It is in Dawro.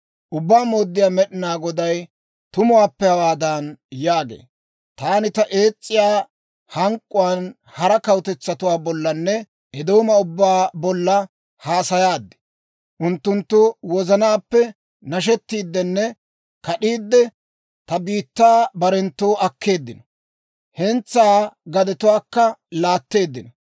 Ubbaa Mooddiyaa Med'inaa Goday tumuwaappe hawaadan yaagee; «Taani ta ees's'iyaa hank'k'uwaan hara kawutetsatuwaa bollanne Eedooma ubbaa bolla haasayaad. Unttunttu wozanaappe nashettiiddenne kad'iidde, ta biittaa barenttoo akkeeddino; hentsaa gadetuwaakka laatteeddino.